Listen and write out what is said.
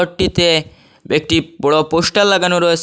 ঘরটিতে একটি বড় পোস্টার লাগানো রয়েসে।